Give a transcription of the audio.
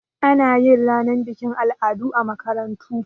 Anayin ranar bikin al'adu a makarantu